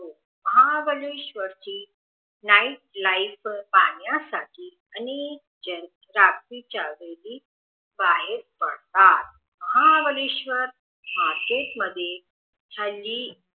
महाबळेश्वर ची night life पाहण्यासाठी अनेक जन रात्रीच्या वेळी बाहेर पडतात महाबळेशवर मार्केट मध्ये हल्ली